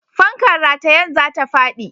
Fankar ratayen za ta faɗi.